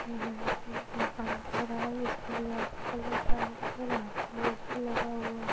यहाँ पे एक मकान दे रहा है जिसकी दीवाल पे कलर व्हाइट हो रहा है और यहाँ पे लॉक भी लगा हुआ --